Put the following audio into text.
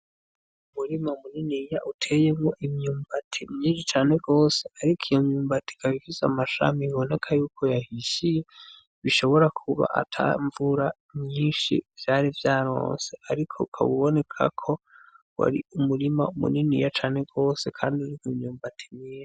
Umurima muniniya uteyemwo imyumbati myinshi cane gose ariko iyo myumbati ikaba ifise amashami biboneka yuko yahishiye bishobora kuba ata mvura nyinshi vyari vyaronse , ariko ukaba uboneka ko wari umurima muniniya cane gose kandi uriko inyumbati myinshi.